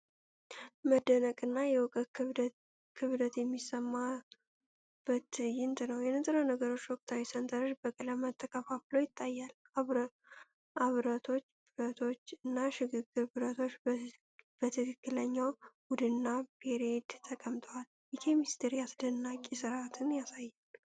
መደነቅና የእውቀት ክብደት የሚሰማበት ትዕይንት ነው። የንጥረ ነገሮች ወቅታዊ ሰንጠረዥ በቀለማት ተከፋፍሎ ይታያል። አብረቶች፣ ብረቶች፣ እና ሽግግር ብረቶች በትክክለኛው ቡድንና ፔሪየድ ተቀምጠው የኬሚስትሪን አስደናቂ ሥርዓት ያሳያሉ።